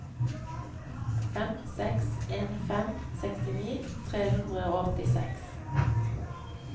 fem seks en fem sekstini tre hundre og åttiseks